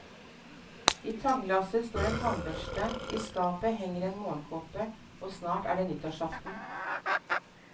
I tannglasset står en tannbørste, i skapet henger en morgenkåpe, og snart er det nyttårsaften.